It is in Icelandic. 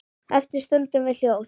Eftir stöndum við hljóð.